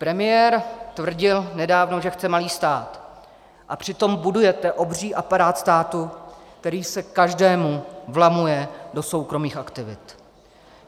Premiér tvrdil nedávno, že chce malý stát, a přitom budujete obří aparát státu, který se každému vlamuje do soukromých aktivit.